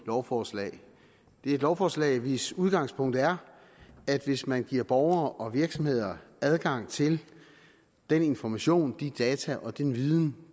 lovforslag det er et lovforslag hvis udgangspunkt er at hvis man giver borgere og virksomheder adgang til den information de data og den viden